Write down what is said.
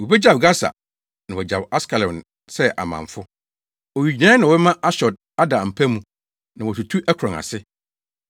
Wobegyaw Gasa na wɔagyaw Askelon sɛ amamfo. Owigyinae na wɔbɛma Asdod ada mpa mu na wɔatutu Ekron ase.